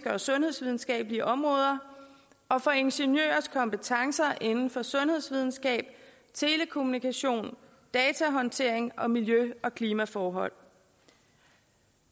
og sundhedsvidenskabelige områder og for ingeniørers kompetencer inden for sundhedsvidenskab telekommunikation datahåndtering og miljø og klimaforhold